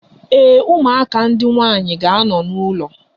Ee, ụmụaka ndị nwaanyị ga-anọ n'ụlọ.